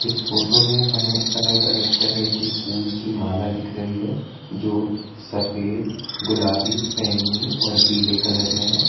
इस फोटो में हमें अलग अलग तरेह की फुल की माला दिख रहीं हैं जो सफेद गुलाबी बैंगनी और पीले कलर में हैं।